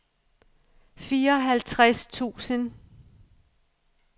fireoghalvtreds tusind